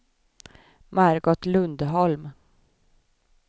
Margot Lundholm